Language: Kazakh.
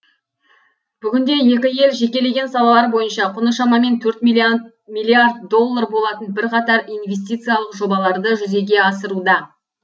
бүгінде екі ел жекелеген салалар бойынша құны шамамен төрт миллиард доллар болатын бірқатар инвестициялық жобаларды жүзеге асыруда